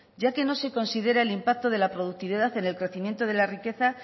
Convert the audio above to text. ya que no se considera el impacto de la productividad en el crecimiento de la riqueza